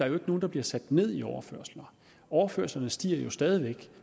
er nogen der bliver sat ned i overførsler overførslerne stiger jo stadig væk